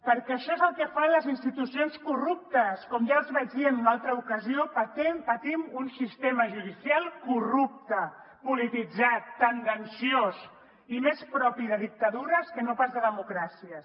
perquè això és el que fan les institucions corruptes com ja els vaig dir en una altra ocasió patim un sistema judicial corrupte polititzat tendenciós i més propi de dictadures que no pas de democràcies